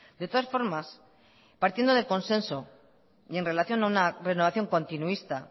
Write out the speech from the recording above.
de todas formas partiendo del consenso y en relación a una renovación continuista